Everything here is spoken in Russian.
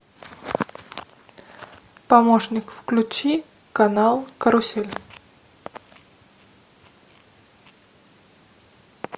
помощник включи канал карусель